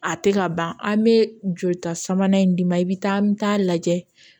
A tɛ ka ban an bɛ jolita sabanan in d'i ma i bɛ taa an bɛ taa lajɛ